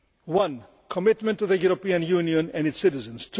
One commitment to the European Union and its citizens